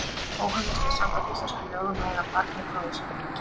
Óheimilt er samkvæmt íslenskum lögum að eiga barn með bróður sínum.